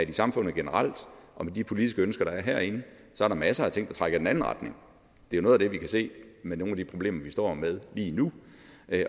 i samfundet generelt og med de politiske ønsker der er herinde er masser af ting der trækker i den anden retning det er noget af det vi kan se med nogle af de problemer vi står med lige nu